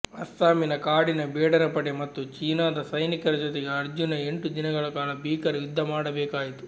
ಅಸ್ಸಾಮಿನ ಕಾಡಿನ ಬೇಡರ ಪಡೆ ಮತ್ತು ಚೀನಾದ ಸೈನಿಕರ ಜೊತೆಗೆ ಅರ್ಜುನ ಎಂಟು ದಿನಗಳ ಕಾಲ ಭೀಕರ ಯುದ್ಧಮಾಡಬೇಕಾಯಿತು